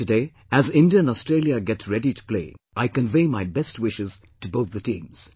Today, as India and Australia get ready to play, I convey my best wishes to both the teams